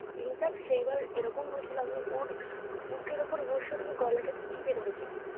infact সেইবার এমন হয়েছিল আমি ওর বুকের ওপর বসে ওর গলাটা টিপে ধরেছিলাম